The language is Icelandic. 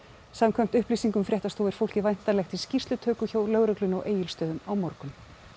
samkvæmt upplýsingum fréttastofu er fólkið væntanlegt í skýrslutöku hjá lögreglunni á Egilsstöðum á morgun